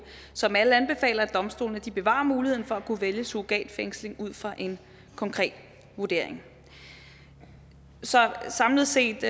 som alle anbefaler at domstolene bevarer muligheden for at kunne vælge surrogatfængsling ud fra en konkret vurdering så samlet set